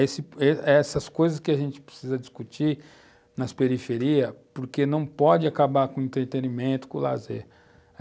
Esse, essas coisas que a gente precisa discutir nas periferias, porque não pode acabar com o entretenimento, com o lazer.